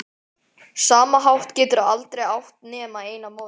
sama hátt geturðu aldrei átt nema eina móður.